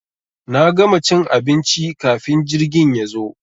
Na gama cin abinci kafin jirgin yazo.